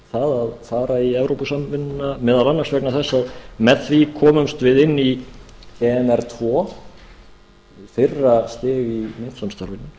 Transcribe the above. það að fara í evrópusambandið núna meðal annars vegna þess að með því komumst við inn í emr tvö fyrra stig í myntsamstarfinu